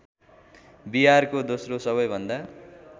बिहारको दोश्रो सबैभन्दा